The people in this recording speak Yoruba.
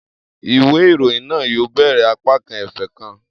Iwe irohin naa yoo bẹrẹ apakan efe kan.